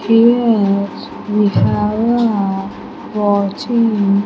Here we have a watching --